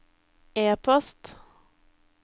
e-post